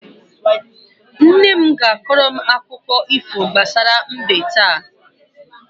Nne m ga-akọrọ m akụkọ ifo gbasara mbe taa.